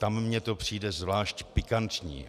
Tam mi to přijde zvlášť pikantní.